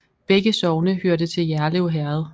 Begge sogne hørte til Jerlev Herred